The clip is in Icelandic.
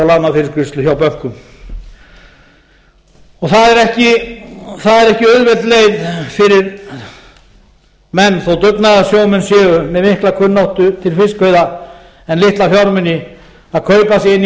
lánafyrirgreiðslu hjá bönkum það er ekki auðveld leið fyrir menn þó dugnaðarsjómenn séu með mikla kunnáttu til fiskveiða en litla fjármuni að kaupa sig inn í